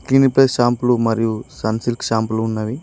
Clinic plus షాంపూలు మరియు sunsilk షాంపూలు ఉన్నవి.